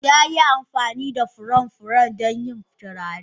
Ya yi amfani da furen furen don yin turare.